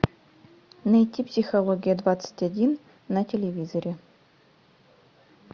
найти психология двадцать один на телевизоре